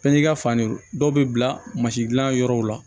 Fɛnjigin fan de dɔw bɛ bila mansin gilan yɔrɔw la